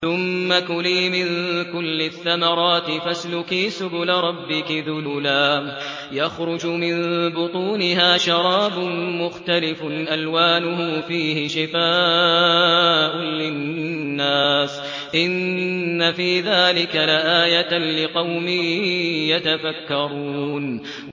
ثُمَّ كُلِي مِن كُلِّ الثَّمَرَاتِ فَاسْلُكِي سُبُلَ رَبِّكِ ذُلُلًا ۚ يَخْرُجُ مِن بُطُونِهَا شَرَابٌ مُّخْتَلِفٌ أَلْوَانُهُ فِيهِ شِفَاءٌ لِّلنَّاسِ ۗ إِنَّ فِي ذَٰلِكَ لَآيَةً لِّقَوْمٍ يَتَفَكَّرُونَ